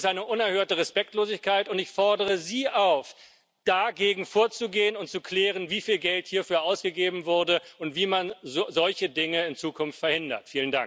Dies ist eine unerhörte Respektlosigkeit, und ich fordere Sie auf, dagegen vorzugehen und zu klären, wieviel Geld hierfür ausgegeben wurde und wie man solche Dinge in Zukunft verhindert.